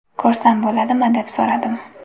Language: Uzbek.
Ko‘rsam bo‘ladimi, deb so‘radim.